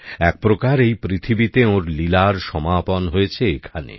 একপ্রকার এই পৃথিবীতে ওঁর লীলার সমাপন হয়েছে এখানে